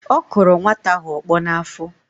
ọ kụrụ nwata ahụ ọkpọ n’afọ